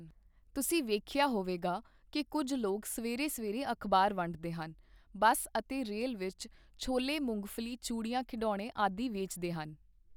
ਤੁਸੀਂ ਵੇਖਿਆ ਹੋਵੇਗਾ ਕਿ ਕੁਝ ਲੋਕ ਸਵੇਰੇ ਸਵੇਰੇ ਅਖਬਾਰਾਂ ਵੰਡਦੇ ਹਨ ਬੱਸ ਅਤੇ ਰੇਲ ਵਿੱਚ ਛੋਲੇ ਮੂੰਗਫਲੀ ਚੂੜੀਆਂ ਖਿਡੌਣੇ ਆਦਿ ਵੇਚਦੇ ਹਨ।